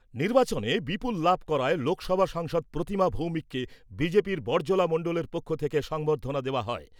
নির্বাচনে বিপুল লাভ করায় লোকসভা সাংসদ প্রতিমা ভৌমিককে বিজেপির বড়জলা মণ্ডলের পক্ষ থেকে সংবর্ধনা দেওয়া হয়।